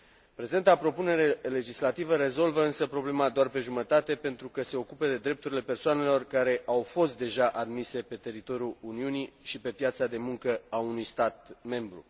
Prezenta propunere legislativă rezolvă însă problema doar pe jumătate, pentru că se ocupă de drepturile persoanelor care au fost deja admise pe teritoriul Uniunii și pe piața de muncă a unui stat membru.